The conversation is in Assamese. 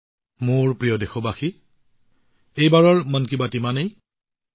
মোৰ মৰমৰ দেশবাসীসকল মন কী বাতৰ এই সংস্কৰণৰ বাবে ইমানখিনিয়েই